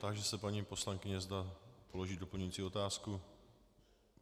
Táži se paní poslankyně, zda položí doplňující otázku.